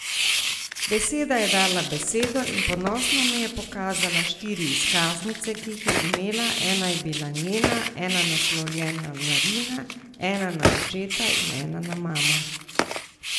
Beseda je dala besedo in ponosno mi je pokazala štiri izkaznice, ki jih je imela, ena je bila njena, ena naslovljena na Rina, ena na očeta in ena na mamo.